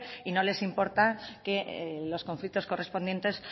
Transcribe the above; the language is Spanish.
y no les importa que los conflictos correspondientes